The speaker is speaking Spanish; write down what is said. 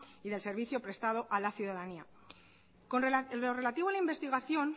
y del servicio prestado a la ciudadanía con lo relativo a la investigación